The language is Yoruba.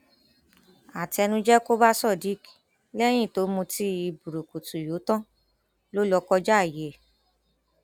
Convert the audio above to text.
àtẹnuje kò bá sadiq lẹyìn tó mutí burúkutu yọ tán ló lọọ kọjá ààyè ẹ